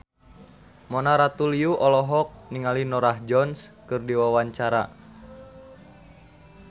Mona Ratuliu olohok ningali Norah Jones keur diwawancara